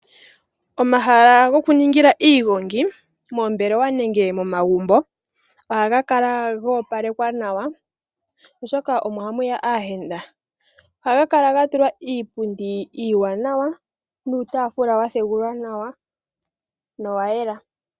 Omahala goku ningila iigongi moombelewa nenge momagumbo ohaga kala go opalekwaa nawa oshoka omo hamuya aayenda. Ohaga kala gatulwa iipundi iiwanawa nuutafula wa thegulwa nawa no wayela.